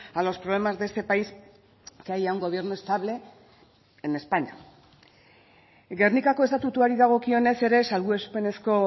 a los problemas de este país que haya un gobierno estable en españa gernikako estatutuari dagokionez ere salbuespenezko